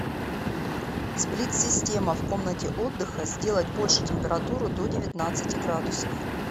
сплит система в комнате отдыха сделать больше температуру до девятнадцати градусов